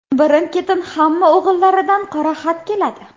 Birin-ketin hamma o‘g‘illaridan qora xat keladi.